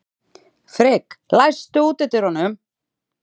Frigg, læstu útidyrunum.